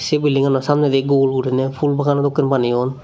se building gano samnendi gul gurine phool bagano dokken baneyon.